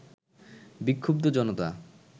বিক্ষুব্ধ জনতা